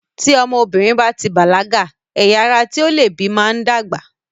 Tí ọmọbìnrin báti bàlágà, ẹyà ara tí ó leè bí máa ń dàgbà.